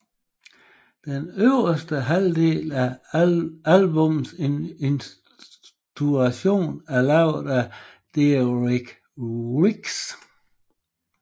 Den øverste halvdel af albummets illustration er lavet af Derek Riggs